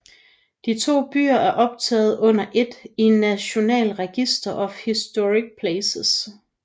De to byer er optaget under ét i National Register of Historic Places